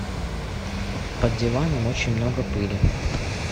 под диваном очень много пыли